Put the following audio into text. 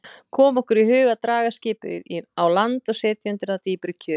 Kom okkur í hug að draga skipið á land og setja undir það dýpri kjöl.